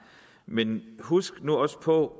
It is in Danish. men husk nu også på